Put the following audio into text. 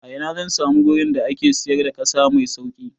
A ina zan samu gurin da ake siyar da ƙasa mai sauƙi?